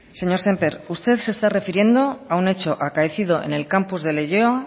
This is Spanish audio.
señor sémper usted se está refiriendo a un hecho acaecido en el campus de leioa